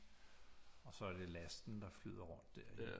Og så er det lasten der flyder rundt der